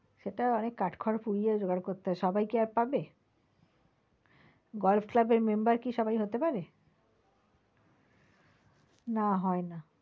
সেটা অনেক কাঠ খড় পুড়িয়ে জোগাড় করতে হয় সবাই কি আর পাবে? golf club এর member কি আর সবাই হতে পারে? না হয় না।